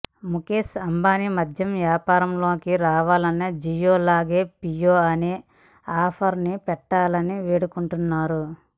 ముఖేష్ అంబానీ మద్యం వ్యాపారం లోకి రావాలని జియో లాగే పియో అనే ఆఫర్ ని పెట్టాలని వేడుకుంటున్నారు